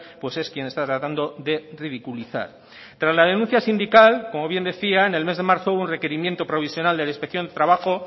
pues es quien está tratando de ridiculizar tras la denuncia sindical como bien decía en el mes de marzo hubo un requerimiento provisional de la inspección de trabajo